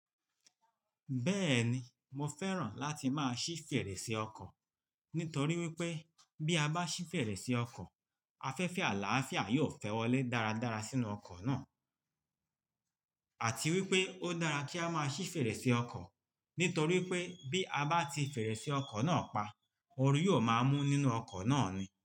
Bẹ́ẹ̀ni, mo fẹ́ràn láti máa ṣí fèrèsé ọkọ̀ nítorí wípé bí a bá ṣí fèrèsé ọkọ̀, afẹ́fẹ́ àlàáfíà yóò fẹ́ wọlé dáradára sínú ọkọ̀ náà àti wípé ó dára kí a máa ṣí fèrèsé ọkọ̀ nítorí pé bí a bá ti fèrèsé ọkọ̀ náà pa, orí yóò máa mú nínú ọkọ̀ náà ni.